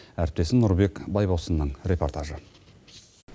әріптесім нұрбек байбосынның репортажы